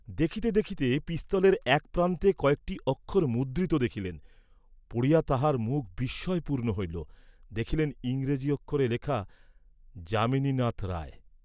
দেখিতে দেখিতে পিস্তলের এক প্রান্তে কয়েকটি অক্ষর মুদ্রিত দেখিলেন, পড়িয়া তাঁহার মুখ বিস্ময়পূর্ণ হইল; দেখিলেন ইংরাজি অক্ষরে লেখা যামিনীনাথ রায়।